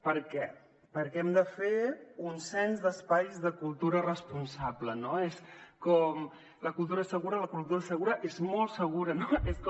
per què perquè hem de fer un cens d’espais de cultura responsable no és com la cultura és segura la cultura és segura és molt segura no és com